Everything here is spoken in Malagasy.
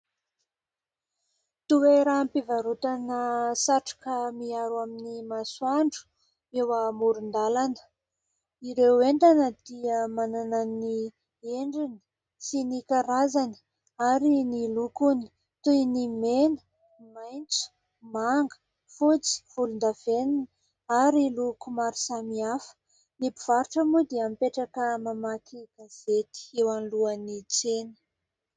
Toeram-pivarotana satroka miaro amin'ny masoandro eo amoron-dalana. Ireo entana dia manana ny endriny sy ny karazany ary ny lokony toy ny mena, ny maitso, manga, fotsy, volondavenona ary loko maro samihafa. Ny mpivarotra moa dia mipetraka mamaky gazety eo anolohan'ny tsena.